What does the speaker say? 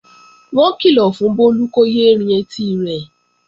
Wọ́n kìlọ̀ fún Bólú kó yé é rin etí rẹ̀